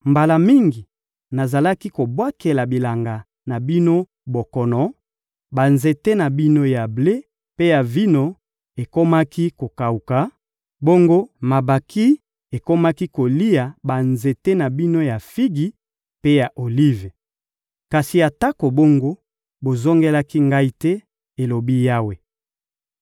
«Mbala mingi, nazalaki kobwakela bilanga na bino bokono, banzete na bino ya ble mpe ya vino ekomaki kokawuka; bongo mabanki ekomaki kolia banzete na bino ya figi mpe ya olive. Kasi atako bongo, bozongelaki Ngai te,» elobi Yawe.